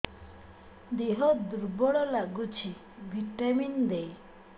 ଦିହ ଦୁର୍ବଳ ଲାଗୁଛି ଭିଟାମିନ ଦେ